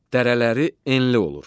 Dərələri enli olur.